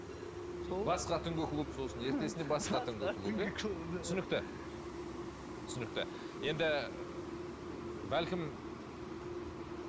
басқа түнгі клуб сосын ертесінде басқа түнгі клуб иә түсінікті түсінікті енді бәлкім